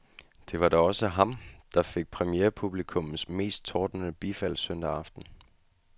Det var da også ham, der fik premierepublikummets mest tordnende bifald søndag aften.